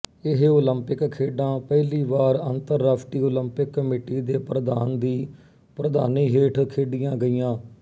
ਇਹ ਓਲੰਪਿਕ ਖੇਡਾਂ ਪਹਿਲੀ ਵਾਰ ਅੰਤਰਰਾਸ਼ਟਰੀ ਓਲੰਪਿਕ ਕਮੇਟੀ ਦੇ ਪ੍ਰਧਾਨ ਦੀ ਪ੍ਰਧਾਨੀ ਹੇਠ ਖੇਡੀਆਂ ਗਈਆ